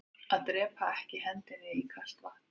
Að drepaa ekki hendinni í kalt vatn